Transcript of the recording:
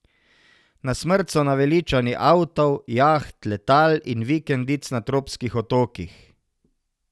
Na smrt so naveličani avtov, jaht, letal in vikendic na tropskih otokih.